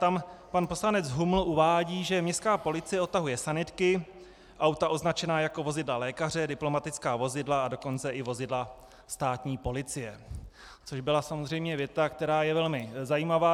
Tam pan poslanec Huml uvádí, že městská policie odtahuje sanitky, auta označená jako vozidla lékaře, diplomatická vozidla, a dokonce i vozidla státní policie, což byla samozřejmě věta, která je velmi zajímavá.